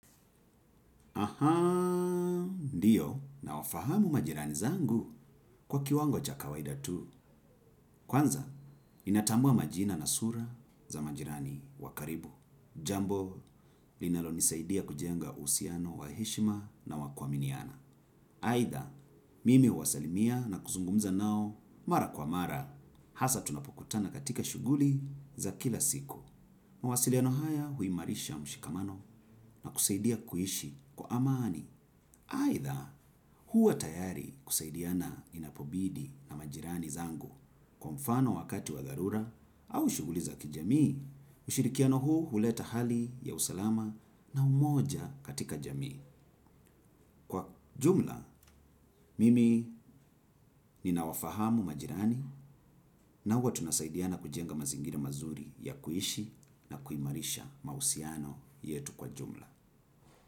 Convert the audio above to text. Ahaa. Ndiyo nawafahamu majirani zangu kwa kiwango cha kawaida tu. Kwanza ninatambua majina na sura za majirani wa karibu. Jambo linalonisaidia kujenga uhusiano wa heshima na wa kuaminiana. Aidha, mimi huwasalimia na kuzungumza nao mara kwa mara, hasa tunapokutana katika shughuli za kila siku. Mawasiliano haya huimarisha mshikamano na kusaidia kuishi kwa amani. Aidha, huwa tayari kusaidiana inapobidi na majirani zangu kwa mfano wakati wa dharura au shughuli za kijamii. Mshirikiano huu huleta hali ya usalama na umoja katika jamii. Kwa jumla, mimi ninawafahamu majirani na huwa tunasaidiana kujenga mazingira mazuri ya kuishi na kuimarisha mahusiano yetu kwa jumla.